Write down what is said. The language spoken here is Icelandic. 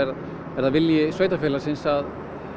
er það vilji sveitarfélagsins að